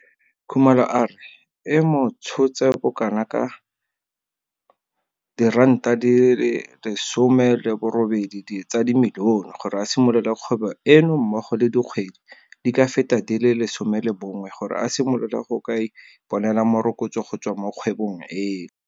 Khumalo a re e mo tshotse bokanaka R18 milione gore a simolole kgwebo eno mmogo le dikgwedi di ka feta di le 11 gore a simolole go ka iponela morokotso go tswa mo kgwebong eno.